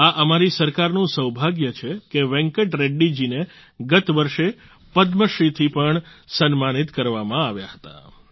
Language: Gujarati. આ અમારી સરકારનું સૌભાગ્ય છે કે વેંકટ રેડ્ડી જીને ગત વર્ષે પદ્મ શ્રી થી પણ સન્માનિત કરવામાં આવ્યા હતા